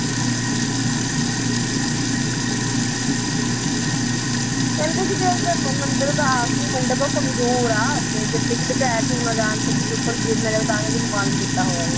ਕਹਿੰਦੇ ਕਿ ਮੰਦਿਰ ਦਾ ਆਖਰੀ ਉਹ ਕਮਜ਼ੋਰ ਆ ਤੇ ਕਿਤੇ ਕਿਤੇ ਢਹਿ ਢੂਹ ਨਾ ਜਾਣ ਤੇ ਕਿਸੇ ਉਪਰ ਗਿਰ ਨਾ ਜਾਵੇ ਤਾਂ ਕਰਕੇ ਇਹਨੂੰ ਬੰਦ ਕੀਤਾ ਹੋਇਆ ਵਾ